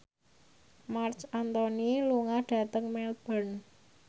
Marc Anthony lunga dhateng Melbourne